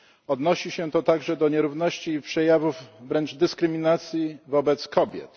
Odnosi się to także do nierówności i przejawów wręcz dyskryminacji wobec kobiet.